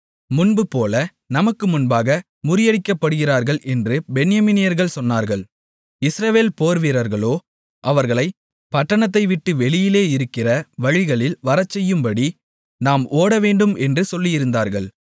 முன்போல நமக்கு முன்பாக முறியடிக்கப்படுகிறார்கள் என்று பென்யமீனியர்கள் சொன்னார்கள் இஸ்ரவேல் போர்வீரர்களோ அவர்களைப் பட்டணத்தை விட்டு வெளியிலே இருக்கிற வழிகளில் வரச்செய்யும்படி நாம் ஓடவேண்டும் என்று சொல்லியிருந்தார்கள்